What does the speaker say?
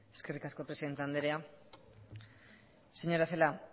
eskerrik asko presidente andrea señora celaá